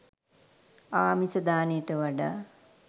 ආමිස දානයට වඩා